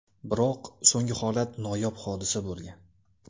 Biroq so‘nggi holat noyob hodisa bo‘lgan.